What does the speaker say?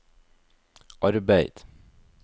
arbeid